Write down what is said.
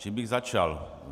Čím bych začal?